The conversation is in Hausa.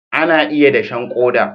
ana iya dashen koda